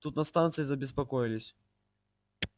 тут на станции забеспокоились